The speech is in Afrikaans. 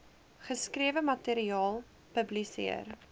geskrewe materiaal publiseer